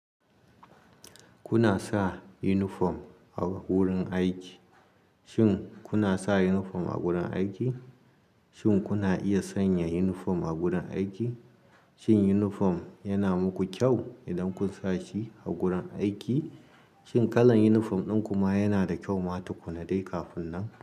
Kuna sa unifom a wurin aiki? Shin kuna sa yunifom a gurin aiki? Shin kuna iya sanya yunifom a gurin aiki? Shin yunifom yana muku kyau idan kun sa shi a gurin aiki? Shin kalan yunifom ɗin ku ma yana da kyau ma tukuna dai kafun nan?